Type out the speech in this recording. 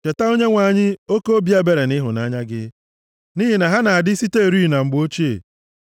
Cheta, Onyenwe anyị, oke obi ebere na ịhụnanya gị, nʼihi na ha na-adị siterị na mgbe ochie.